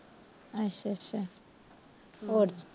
ਅੱਛਾ ਅੱਛਾ ਹੋਰ